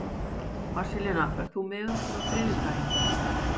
Marselína, ferð þú með okkur á þriðjudaginn?